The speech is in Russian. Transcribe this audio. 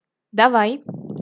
давай